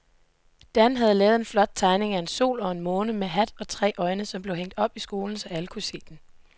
Dan havde lavet en flot tegning af en sol og en måne med hat og tre øjne, som blev hængt op i skolen, så alle kunne se den.